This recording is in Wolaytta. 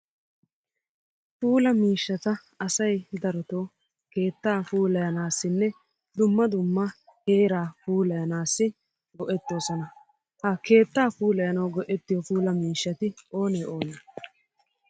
Puula miishshata asay darotoo keettaa puulayanaassinne dumma dumma heeraa puulayanaassi go"ettoosona. Ha keettaa puulayanaw go"ettiyo puula miishshati oone oone?